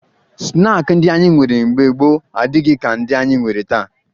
Snaakị ndị anyị nwere mbge gboo adịghị ka ndị anyị nwere taa